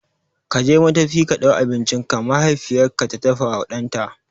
Je ka madafi ka ɗau abincinka! mahaifiyar ta faɗawa ɗanta.